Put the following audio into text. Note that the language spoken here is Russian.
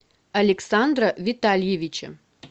александра витальевича